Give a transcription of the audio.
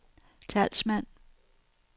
talsmand